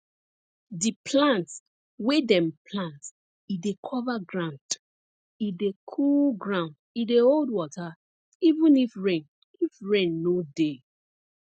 di plant wey dem plant e dey cover ground e dey cool ground e dey hold water even if rain if rain no dey